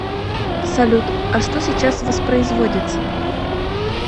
салют а что сейчас воспроизводится